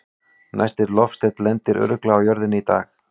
Næsti loftsteinn lendir örugglega á jörðinni í dag!